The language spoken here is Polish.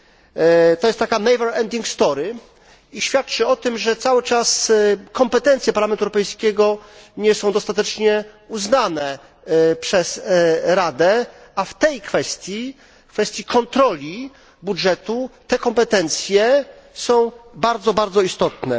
Jest to taka never ending story, która świadczy o tym, że cały czas kompetencje Parlamentu Europejskiego nie są dostatecznie uznane przez Radę, a w tej kwestii, w kwestii kontroli budżetu, te kompetencje są bardzo, bardzo istotne.